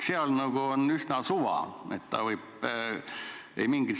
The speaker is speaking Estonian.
Seal nagu on üsna suva, et ta võib ükskõik mis palka saada.